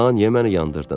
Da niyə məni yandırdın?